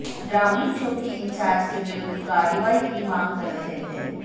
ग्रामीण चौकी इंचार्ज के विरुद्ध कार्रवाई की मांग कर रहे थे